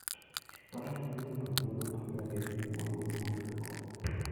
Faras miyo ng'ato thuolo mar dak e piny motwo ma onge koko.